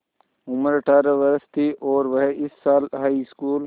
उम्र अठ्ठारह वर्ष थी और वह इस साल हाईस्कूल